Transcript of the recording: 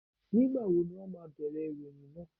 Ní ìgbà wo ni wón ma bẹ̀rẹ̀ ìròyìn náà?